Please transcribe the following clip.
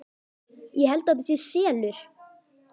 Ég held að þetta sé SELUR!